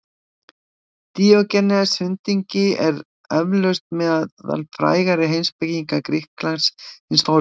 Díógenes hundingi er eflaust meðal frægari heimspekinga Grikklands hins forna.